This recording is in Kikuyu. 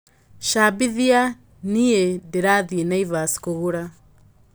cambĩthĩa nĩ ndĩrathĩi naivas kũgũra